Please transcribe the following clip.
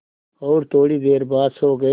और थोड़ी देर बाद सो गए